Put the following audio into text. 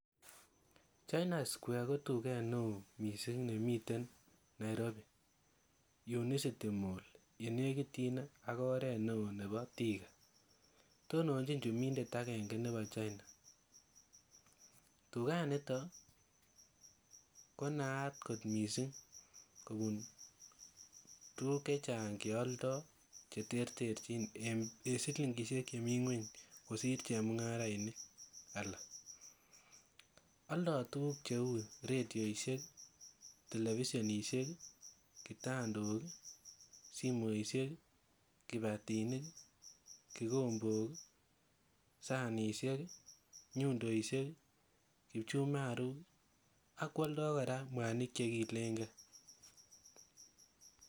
China square ko tuget neo nemiten Nairobi unicitymol ne nekityin ak oret neo nebo thika tonanchi chumindet agenge nebo china tuganito konaat got missing kobun tuguk chechang che aldoi cheterterchin en silingisiek chemii ngweny ak chemungarainik alak aldoi tuguk cheu redioisik televisionisiek kitandok simoisiek kibatinik kikombok sanishek nyundoisiek kipchumaruk ak kwoldoi kora mwanik chegiilenge